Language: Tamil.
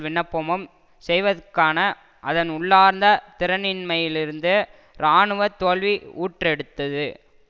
விண்ணப்பமும் செய்வதற்கான அதன் உள்ளார்ந்த திறனின்மையிலிருந்து இராணுவ தோல்வி ஊற்றெடுத்தது